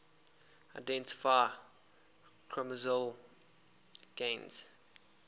identify chromosomal gains